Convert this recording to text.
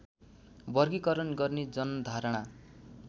वर्गिकरण गर्ने जनधारणा